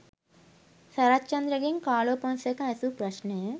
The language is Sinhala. සරච්චන්ද්‍ර ගෙන් කාලෝ ෆොන්සේකා ඇසූ ප්‍රශ්නය.